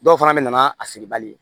Dɔw fana bɛ na n'a feere bali ye